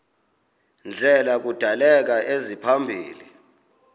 ndlela kudaleka isimaphambili